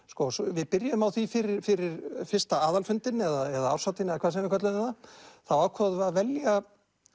við byrjuðum á því fyrir fyrir fyrsta aðalfundinn eða árshátíðina eða hvað sem við kölluðum það þá ákváðum við að velja